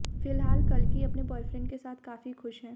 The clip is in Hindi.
फिलहाल कल्कि अपने बॉयफ्रेंड के साथ काफी खुश हैं